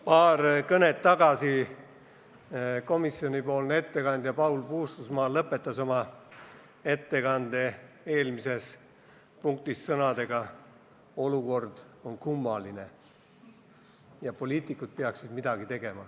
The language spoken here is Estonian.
Paar kõnet tagasi eelmise päevakorrapunkti juures lõpetas komisjonipoolne ettekandja Paul Puustusmaa oma ettekande sõnadega, et olukord on kummaline ja poliitikud peaksid midagi tegema.